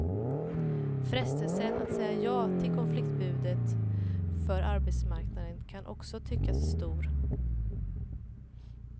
Frestelsen att säga ja till konfliktförbudet för arbetsmarknaden kan också tyckas stor.